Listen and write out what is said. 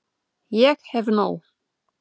Ég hef nóg.